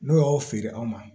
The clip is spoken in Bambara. N'o y'aw feere anw ma